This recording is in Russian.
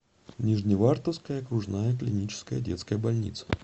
нижневартовская окружная клиническая детская больница